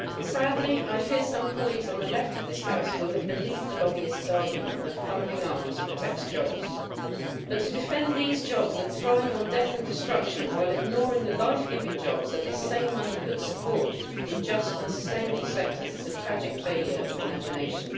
Sadly, I fear some colleagues on the left of this House will have believed the lobbyists' argument that funding arms protects jobs, but to defend these jobs that thrive on death and destruction, while ignoring the life giving jobs that this same money could support in just and sustainable sectors, is a tragic failure of imagination.